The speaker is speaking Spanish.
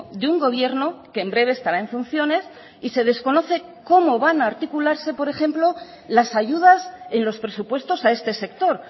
de un gobierno que en breve estará en funciones y se desconoce cómo van a articularse por ejemplo las ayudas en los presupuestos a este sector